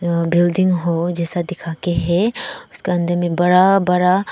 आ building hall जैसा दिखाकर है उसके अंदर में बड़ा बड़ा --